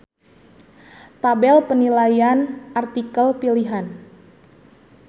Tabel penilaian artikel pilihan.